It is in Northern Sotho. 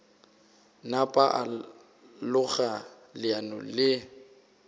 napa a loga leano le